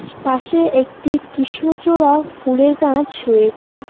পাশে একটি কিষ্ণচূড়া ফুলের গাছ রয়েছে।